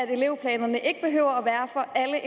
at elevplanerne ikke behøver